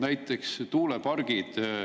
Näiteks tuulepargid.